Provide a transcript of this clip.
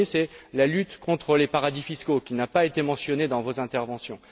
Le premier, c'est la lutte contre les paradis fiscaux, qui n'a pas été mentionnée dans vos interventions.